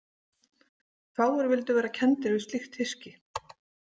Fáir vildu vera kenndir við slíkt hyski.